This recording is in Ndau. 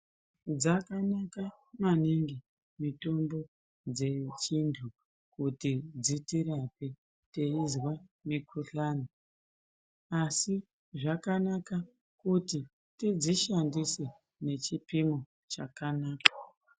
Dzakanaka maningi mitombo dzechintu, kuti dzitirape teyinzva mikhuhlane. Asi zvakanaka kuti tidzishandise nechipimo chakanaka.